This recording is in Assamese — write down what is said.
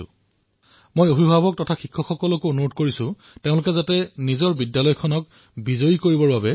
মই বিদ্যালয় অভিভাৱক আচাৰ্য তথা শিক্ষকসকলকো অনুৰোধ জনাম যে নিজৰ বিদ্যালয়ক বিজয়ী কৰি তুলিবলৈ তেওঁলোকে যাতে প্ৰয়াস কৰে